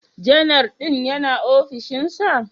Janar din yana ofishinsa?